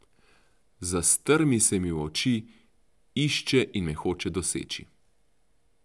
Zastrmi se mi v oči, išče in me hoče doseči.